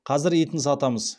қазір етін сатамыз